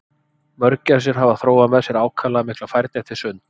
Mörgæsir hafa þróað með sér ákaflega mikla færni til sunds.